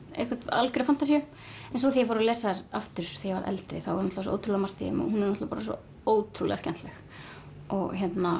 algjöra fantasíu svo þegar ég fór að lesa þær aftur þegar ég eldri þá er svo ótrúlega margt í þeim og hún er svo ótrúlega skemmtileg og